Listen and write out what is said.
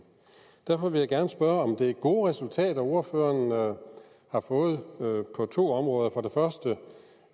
og vil jeg gerne spørge om det er gode resultater ordføreren har fået på to områder for